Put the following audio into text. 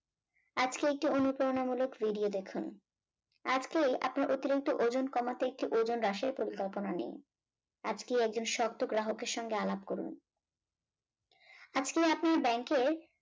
আজকে একটি অনুপ্রেরণামূলক video দেখুন আজকে আপনার অতিরিক্ত ওজন কমাতে একটি ওজন হ্রাসের পরিকল্পনা নিয়ে আজকে একজন শক্ত গ্রাহকের সঙ্গে আলাপ করুন। আজকে আপনি ব্যাংকে